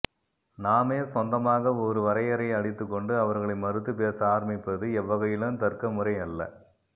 நாமே சொந்தமாக ஒரு வரையறையை அளித்துக்கொண்டு அவர்களை மறுத்துப்பேச ஆரம்பிப்பது எவ்வகையிலும் தர்க்கமுறை அல்ல